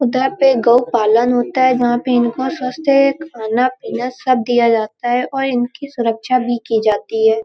उदा पे गउ पालन होता है जहां पे इनको खाना-पीना सब दिया जाता है औ इनकी सुरक्षा भी की जाती है।